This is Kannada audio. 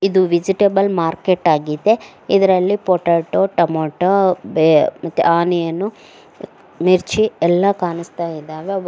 ಇದು ವೆಜಿಟೇಬಲ್ ಮಾರ್ಕೆಟ್ ಆಗಿದೆ ಇದರಲ್ಲಿ ಪೊಟಾಟೋ ಟಮೋಟೋ ಬೆ ಮತ್ತೆ ಆನಿಯನ್ ಮಿರ್ಚಿ ಎಲ್ಲಾ ಕಾಣ್ಸ್ತ ಇದಾವೆ ಅವ್--